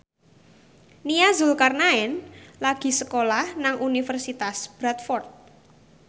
Nia Zulkarnaen lagi sekolah nang Universitas Bradford